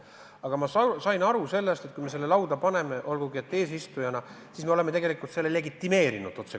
Aga ma sain aru, et kui me selle lauda paneme, olgugi et eesistujana, siis me oleme tegelikult selle otsekohe legitimeerinud.